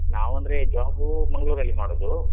ನಾವಂದ್ರೆ job ಊ ಮಂಗ್ಳೂರಲ್ಲಿ ಮಾಡುದು.